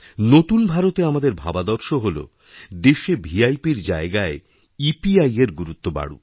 নতুন ভারতে আমাদের ভাবাদর্শ হল দেশে ভিআইপির জায়গায় ইপিআইএর গুরুত্ববাড়ুক